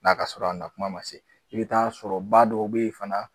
Na ka sɔrɔ a na kuma ma se. I bi taa sɔrɔ ba dɔw be yen fana